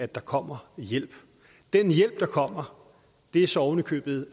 der kommer hjælp den hjælp der kommer er så oven i købet